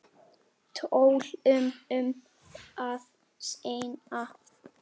Tölum um það seinna.